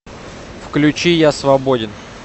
включи я свободен